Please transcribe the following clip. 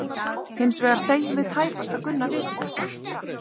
Hins vegar segjum við tæpast að Gunna viti þetta.